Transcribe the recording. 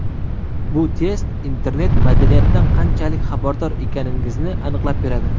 Bu test internet-madaniyatdan qanchalik xabardor ekaningizni aniqlab beradi.